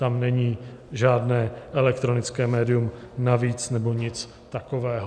Tam není žádné elektronické médium navíc nebo nic takového.